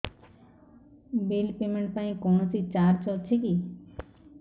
bill payment ପାଇଁ କୌଣସି charge ଅଛି କି